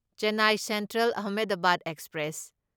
Chennai Central Ahmedabad express